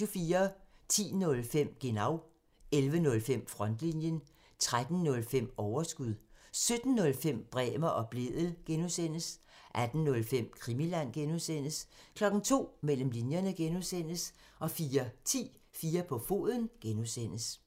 10:05: Genau (tir) 11:05: Frontlinjen (tir) 13:05: Overskud (tir) 17:05: Bremer og Blædel (G) (tir) 18:05: Krimiland (G) (tir) 02:00: Mellem linjerne (G) (tir) 04:10: 4 på foden (G) (tir)